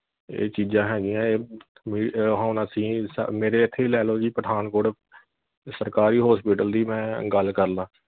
ਇਹ ਚੀਜਾਂ ਹੈਗੀ ਆ ਏ ਹੁਣ ਅਸੀਂ ਮੇਰੇ ਇਥੇ ਹੀ ਲੈ ਲੋ ਜੀ ਪਠਾਨਕੋਟ ਸਰਕਾਰੀ hospital ਦੀ ਮੈਂ ਗੱਲ ਕਰ ਲਾਂ